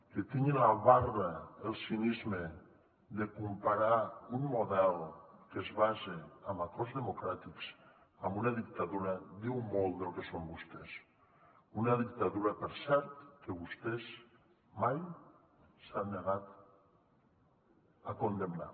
que tingui la barra el cinisme de comparar un model que es basa en acords democràtics amb una dictadura diu molt del que són vostès una dictadura per cert que vostès mai s’han negat a condemnar